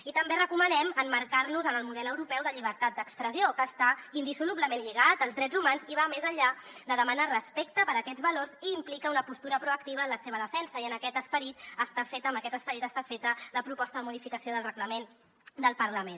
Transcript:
i també recomanem emmarcar nos en el model europeu de llibertat d’expressió que està indissolublement lligat als drets humans i va més enllà de demanar respecte per aquests valors i implica una postura proactiva en la seva defensa i amb aquest esperit està feta la proposta de modificació del reglament del parlament